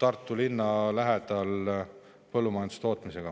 Tartu linna lähedal põllumajandustootmist.